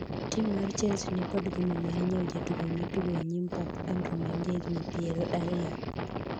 Tim mar Chelsea nikod gombo mar nyiewo jatugo matugo e nyim pap, Andru ma en ja higni piero ariyo